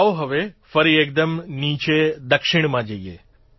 આવો હવે ફરી એકદમ નીચે દક્ષિણમાં જઇએ